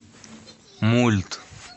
мульт